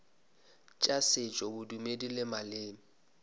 tša setšo bodumedi le maleme